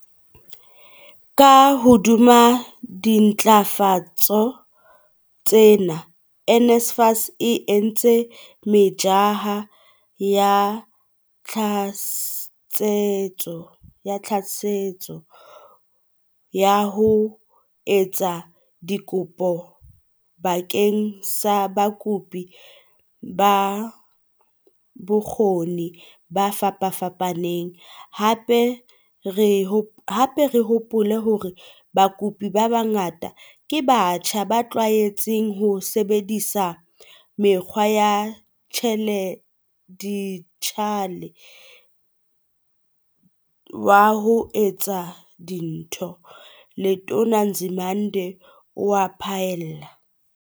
Ka hodima dintlafatso tsena, NSFAS e entse metjha ya tlatsetso ya ho etsa dikopo bakeng sa bakopi ba bokgo ni bo fapafapaneng, hape re hopole hore bakopi ba bangata ke batjha ba tlwaetseng ho sebedisa mokgwa wa dijithale wa ho etsa dintho," Letona Nzimande o a phaella.